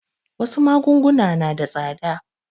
Wasu magunguna na da tsada.